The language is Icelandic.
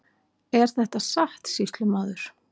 Er þetta satt, sýslumaður?